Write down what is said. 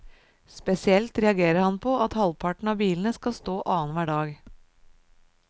Spesielt reagerer han på at halvparten av bilene skal stå annen hver dag.